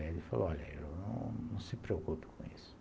Ele falou, olha, não se preocupe com isso.